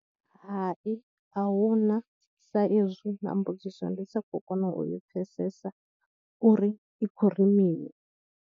Hai a hu na sa ezwi na mbudziso ndi sa khou kona u i pfhesesa uri i khou ri mini.